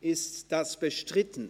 Ist dies bestritten?